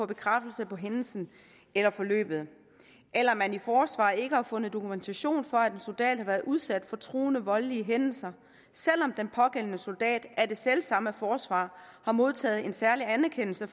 bekræftelse på hændelsen eller forløbet eller at man i forsvaret ikke har fundet dokumentation for at en soldat har været udsat for truende voldelige hændelser selv om den pågældende soldat af det selv samme forsvar har modtaget en særlig anerkendelse